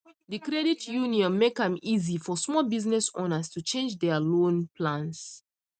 the credit union make um am easy for small business owners to change their loan plans